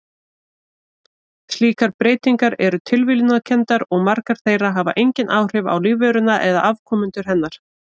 Slíkar breytingar eru tilviljunarkenndar og margar þeirra hafa engin áhrif á lífveruna eða afkomendur hennar.